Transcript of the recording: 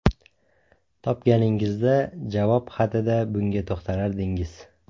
Topganingizda javob xatida bunga to‘xtalardingiz.